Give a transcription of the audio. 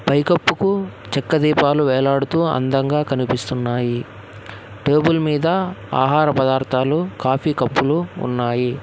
పై కప్పుకు చెక్క దీపాలు వేలాడుతూ అందంగా కనిపిస్తున్నాయి టేబుల్ మీద ఆహార పదార్థాలు కాఫీ కప్పు లు ఉన్నాయి.